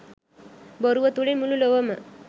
බොරුව තුළින් මුළු ලොවම